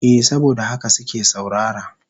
Eh saboda haka suke saurara.